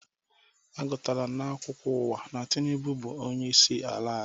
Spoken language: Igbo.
A gụtara m na-akwukwo uwa na Tịnubụ buzi onyeisi ala